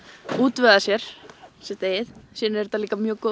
útvegað sér sitt eigið síðan er þetta líka mjög góð